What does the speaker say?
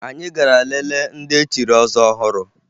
Anyị gara lelee ndị echiri ọzọ ọhụrụ